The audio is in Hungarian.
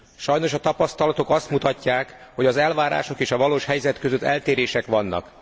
Sajnos a tapasztalatok azt mutatják, hogy az elvárások és a valós helyzet között eltérések vannak.